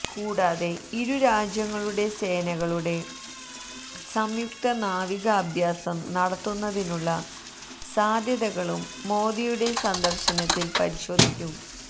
കൂടാതെ ഇരു രാജ്യങ്ങളുടെ സേനകളുടെ സംയുക്ത നാവിക അഭ്യാസം നടത്തുന്നതിനുള്ള സാധ്യതകളും മോദിയുടെ സന്ദര്ശനത്തില് പരിശോധിക്കും